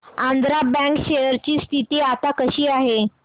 Andhra bank share ची स्थिती आता कशी आहे